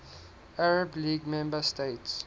arab league member states